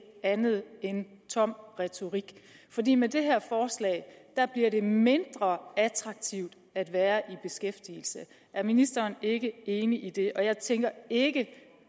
er andet end tom retorik fordi med det her forslag bliver det mindre attraktivt at være i beskæftigelse er ministeren ikke enig i det og jeg tænker ikke